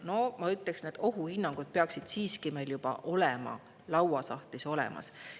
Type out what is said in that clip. No ma ütleksin, et ohuhinnangud peaksid meil siiski juba lauasahtlis olemas olema.